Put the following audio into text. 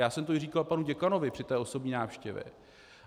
Já jsem to i říkal panu děkanovi při té osobní návštěvě.